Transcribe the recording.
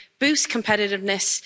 boost competitiveness